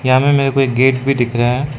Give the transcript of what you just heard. सामने मेरे को एक गेट भी दिख रहा है।